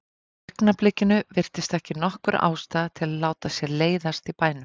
Í augnablikinu virtist ekki nokkur ástæða til að láta sér leiðast í bænum.